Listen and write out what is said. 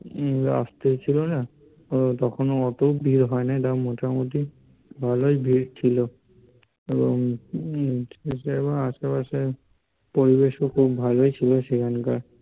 রাস্তায় ছিলো না, তখন অত ভীড় হয় নাই তাও মোটামুটি ভালোই ভীড় ছিলো এবং সে সময় আশেপাশের পরিবেশ ও বেশ ভালোই ছিলো সেখানকার